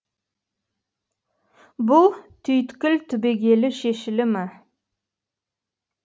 бұл түйткіл түбегейлі шешілі ме